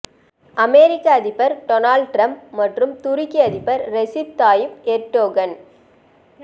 அமெரிக்க அதிபர் Donald Trump மற்றும் துருக்கி அதிபர் ரெசிப் தாயிப் எர்டோகன்